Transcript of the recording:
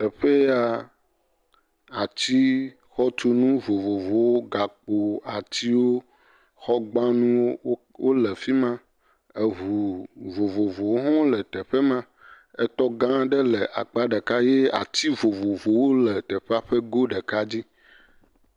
Teƒe ya, ati xɔtunu vovovowo, gakpo, atiwo, xɔgbanuwo wole afi ma, eŋu vovovowo hã wole teƒe ma, etɔ gã aɖe le akpa ɖeka ye ati vovovowo le teƒea ƒe go ɖeka dzi.